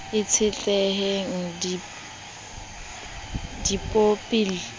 e tshehetsan g di bopil